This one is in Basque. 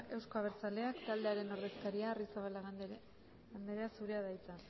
euzko abertzaleak taldearen ordezkaria arrizabalaga andrea zurea da hitza